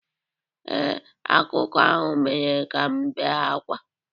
Ee, akụkọ ahụ mere ka m bee ákwá